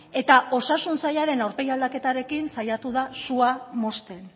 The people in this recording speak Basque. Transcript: eta osasun sailaren aurpegi aldaketarekin saiatu da sua mozten